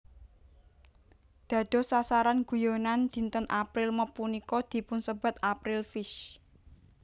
Dados sasaran guyonan dinten April Mop punika dipunsebat April Fish